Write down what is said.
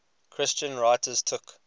christian writers took